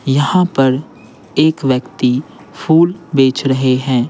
यहां पर एक व्यक्ति फूल बेच रहे हैं।